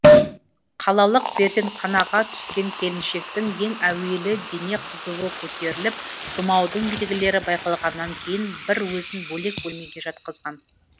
қалалық перзентханаға түскен келіншектің ең әуелі дене қызуы көтеріліп тұмаудың белгілері байқалғаннан кейін бір өзін бөлек бөлмеге жатқызған